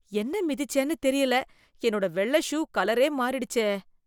என்ன மிதிச்சேன்னு தெரியல, என்னோட வெள்ளை ஷூ கலரே மாறிடுச்சே,